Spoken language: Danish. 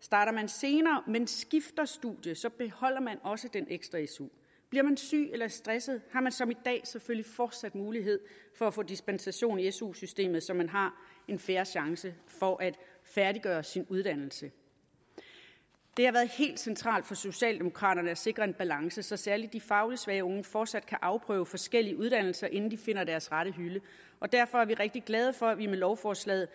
starter man senere men skifter studie så beholder man også den ekstra su bliver man syg eller stresset har man som i dag selvfølgelig forsat mulighed for at få dispensation i su systemet så man har en fair chance for at færdiggøre sin uddannelse det har været helt centralt for socialdemokraterne at sikre en balance så særlig de fagligt svage unge forsat kan afprøve forskellige uddannelser inden de finder deres rette hylde og derfor er vi rigtig glade for at vi med lovforslaget